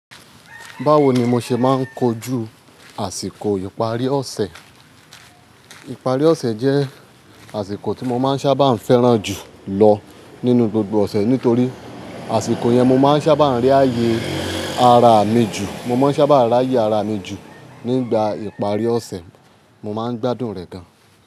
Báwo ni mo ṣe máa ń kojú àsìkò ìparí ọ̀sẹ̀? Ìparí ọ̀sẹ̀ jẹ́ àsìkò tí mo máa ń ṣábà fẹ́ràn jù lọ nínú gbogbo ọ̀sẹ̀ nítorí àsìkò yẹn mo máa ń sábà rí ààyè ara mi jù. Mo má ń sábà rí ààyè ara mi jù. Nígbà ìparí ọ̀sẹ̀ mo má ń gbádùn rẹ̀ gan.